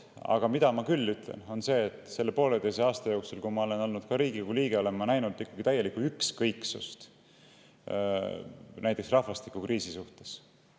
Aga mida ma saan öelda, on see, et selle pooleteise aasta jooksul, kui ma olen Riigikogu liige olnud, olen ma näinud ikka täielikku ükskõiksust rahvastikukriisi küsimuse vastu.